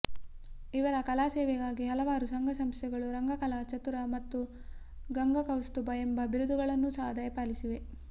ಇವರ ಕಲಾಸೇವೆಗಾಗಿ ಹಲವಾರು ಸಂಘ ಸಂಸ್ಥೆಗಳು ರಂಗಕಲಾ ಚತುರ ಮತ್ತು ಗಂಗಕೌಸ್ತುಭ ಎಂಬ ಬಿರುದುಗಳನ್ನೂ ಸಹ ದಯಪಾಲಿಸಿವೆ